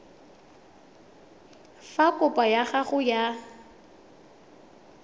fa kopo ya gago ya